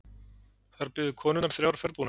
Þar biðu konurnar þrjár ferðbúnar.